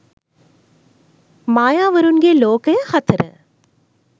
mayawarunge lokaya 4